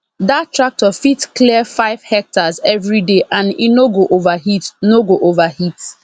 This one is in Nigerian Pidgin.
that tractor fit clear five hectares every day and e no go overheat no go overheat